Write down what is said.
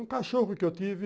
Um cachorro que eu tive.